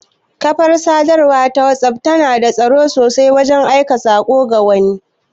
Ƙafar Sadarwa ta whatsapp tana da tsaro sosai wajan aiko sako ga wani